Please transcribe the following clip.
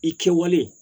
I kɛwale